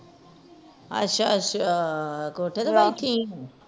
ਅੱਛਾ ਅੱਛਾ ਕੋਠੇ ਤੇ ਬੈਠੀ ਆ